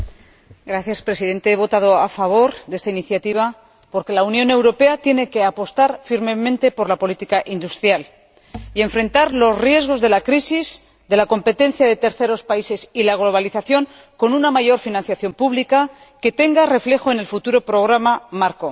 Señor Presidente, he votado a favor de esta iniciativa porque la Unión Europea tiene que apostar firmemente por la política industrial y enfrentar los riesgos de la crisis, la competencia de terceros países y la globalización con una mayor financiación pública que tenga reflejo en el futuro programa marco.